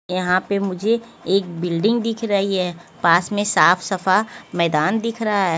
यहां पे मुझे एक बिल्डिंग दिख रही है। पास ने साफ सफा मैदान दिख रहा है।